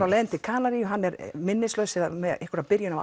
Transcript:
á leiðinni til Kanarí hann er minnislaus eða með byrjunina á